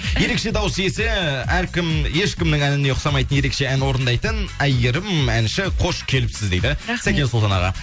ерекше дауыс иесі әркім ешкімнің әніне ұқсамайтын ерекше ән орындайтын айгерім әнші қош келіпсіз дейді сәкен сұлтан аға